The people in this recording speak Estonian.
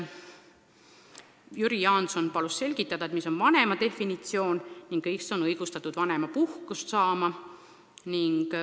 Jüri Jaanson palus selgitada, milline on vanema definitsioon ning kes on õigustatud vanemapuhkust saama.